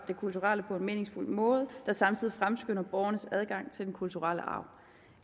kulturelle på en meningsfuld måde der samtidig fremskynder borgernes adgang til den kulturelle arv